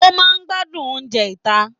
O máa n gbádùn oúnjẹ ita.